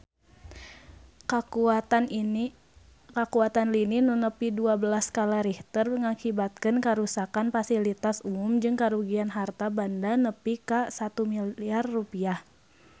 Kakuatan lini nu nepi dua belas skala Richter ngakibatkeun karuksakan pasilitas umum jeung karugian harta banda nepi ka 1 miliar rupiah